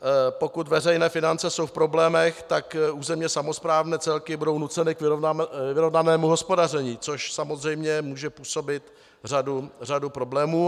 Pokud veřejné finance jsou v problémech, tak územně samosprávné celky budou nuceny k vyrovnanému hospodaření, což samozřejmě může působit řadu problémů.